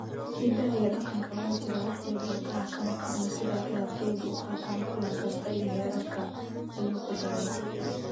"Hiddaha iyo dhaqanka waa jiraa, wax dhibaato ah kama qabno sida ciyaartoydu u qaataan kulan kasta iyo heerarka," ayuu ku daray.